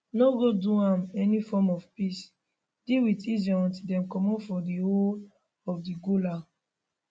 no go do any form of peace deal wit israel until dem comot from di whole of di golan